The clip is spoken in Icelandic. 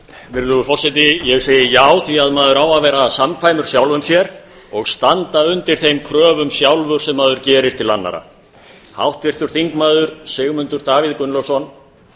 virðulegur forseti ég segi já því að maður á að vera samkvæmur sjálfum sér og standa undir þeim kröfum sjálfur sem maður gerir til annarra háttvirtur þingmaður sigmundur davíð gunnlaugsson